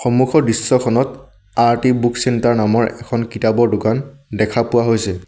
সন্মুখৰ দৃশ্যখনত Arati book centre নামৰ কিতাপৰ দোকান দেখা পোৱা হৈছে।